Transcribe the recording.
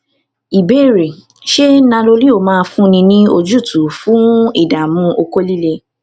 ìbéèrè ṣé nanoleo máa fúnni ní ojútùú fun idamu oko lile